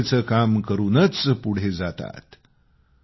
स्वच्छतेचं काम करूनच पुढे जातात